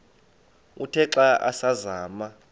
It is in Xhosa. uthe xa asazama